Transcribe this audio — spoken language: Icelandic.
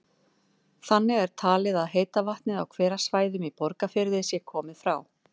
Þannig er talið að heita vatnið á hverasvæðum í Borgarfirði sé komið frá